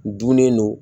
Dunnen don